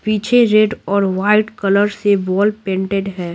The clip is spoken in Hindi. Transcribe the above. पीछे रेड और वाइट कलर से वॉल पेंटेड --